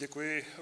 Děkuji.